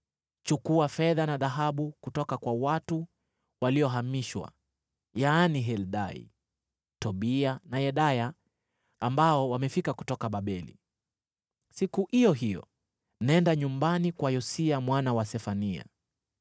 “Chukua fedha na dhahabu kutoka kwa watu waliohamishwa, yaani Heldai, Tobia na Yedaya ambao wamefika kutoka Babeli. Siku iyo hiyo nenda nyumbani kwa Yosia mwana wa Sefania.